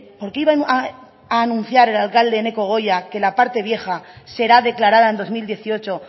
por qué iban a anunciar el alcalde eneko goia que la parte vieja será declarada en dos mil dieciocho